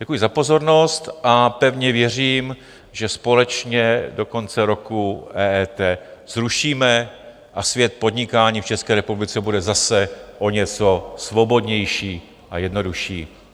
Děkuji za pozornost a pevně věřím, že společně do konce roku EET zrušíme a svět podnikání v České republice bude zase o něco svobodnější a jednodušší.